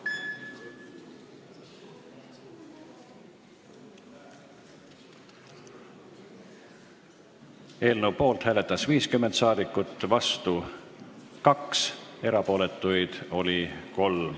Hääletustulemused Eelnõu poolt hääletas 50 rahvasaadikut, vastu 2, erapooletuid oli 3.